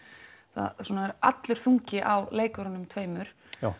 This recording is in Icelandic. það er allur þungi á leikurunum tveimur